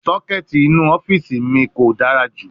Socket ni ọfiisi mi ko dara ju